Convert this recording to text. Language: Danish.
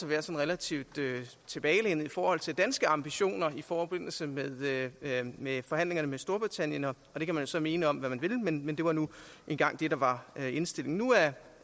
være sådan relativt tilbagelænet i forhold til danske ambitioner i forbindelse med med forhandlingerne med storbritannien det kan man så mene om hvad man vil men men det var nu engang det der var indstillingen nu er